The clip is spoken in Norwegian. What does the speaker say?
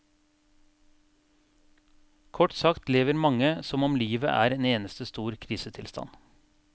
Kort sagt lever mange som om livet er en eneste stor krisetilstand.